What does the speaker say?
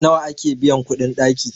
nawa ake biyan kuɗin ɗaki?